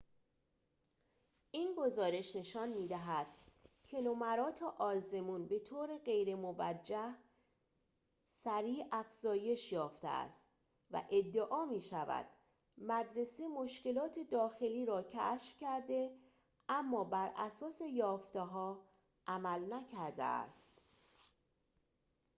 این گزارش نشان می‌دهد که نمرات آزمون به طور غیرموجه سریع افزایش یافته است و ادعا می‌شود مدرسه مشکلات داخلی را کشف کرده اما براساس یافته‌ها عمل نکرده است